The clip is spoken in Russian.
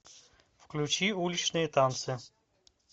включи уличные танцы